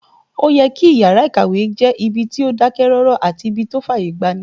Ó yẹ kí yàrá-ìkàwé jẹ́ ibi tó dákẹ́ rọ́rọ́ àti ibí tó fàyè gbani